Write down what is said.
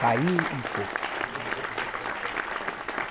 Caiu um coco.